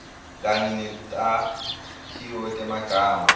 kanye netakhiwo temagama